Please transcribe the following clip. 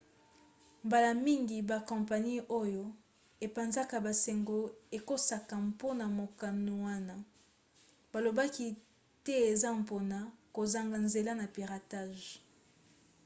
mbala mingi bakompani oyo epanzaka basango ekosaka mpona mokano wana balobaki te eza mpona kozanga nzela na piratage